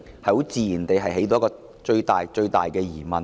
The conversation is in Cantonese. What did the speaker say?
這自然會引起最大的疑問。